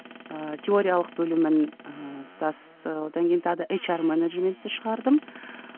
ыыы теориялық бөлімін ыыы тұтас ыыы одан кейін тағы да ейч ар менеджментті шығардым